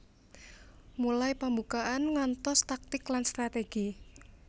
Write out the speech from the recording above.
Mulai pambukaan ngantos taktik lan strategi